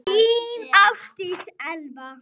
Þín, Ásdís Elva.